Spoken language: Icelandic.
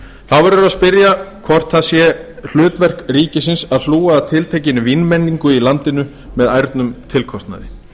verður að spyrja hvort það sé hlutverk ríkisins að hlúa að tiltekinni vínmenningu í landinu með ærnum tilkostnaði